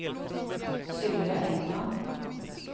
Sylvia Engman